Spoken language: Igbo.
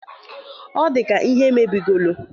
Ọ dịka ihe mebigolo.